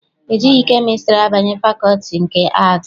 E jighị kemịstrị abanye fakọlti nke Aatị.